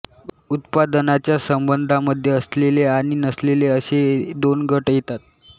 उत्पादनाच्या संबंधांमध्ये असलेले आणि नसलेले असे दोन गट येतात